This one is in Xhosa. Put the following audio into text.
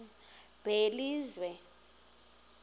belizwe